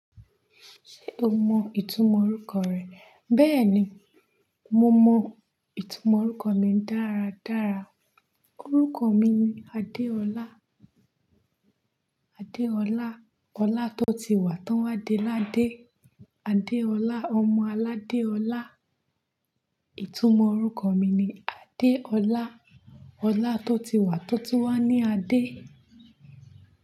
O mọ ìtumọ̀ orúkọ rẹ? Bẹ́ẹ̀ni, mo mọ ìtumọ̀ orúkọ mi dáradára. Orúkọ mi ni Adéọlá. Adéọlá: ọlá tó ti wà tí won wá de ládé. Adéọlá: ọmọ aládéọlá. Ìtumọ̀ orúkọ mi ni Adéọlá: ọlá tó ti wà tótún wá ní adé.